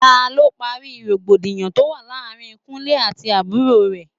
Ta ló parí rògbòdìyàn tó wà láàárín Kúnlẹ́ àti àbúrò rè?